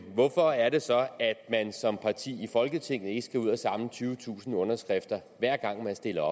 hvorfor er det så at man som parti i folketinget ikke skal ud at samle tyvetusind underskrifter hver gang man stiller